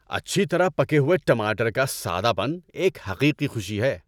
اچھی طرح پکے ہوئے ٹماٹر کا سادہ پن ایک حقیقی خوشی ہے۔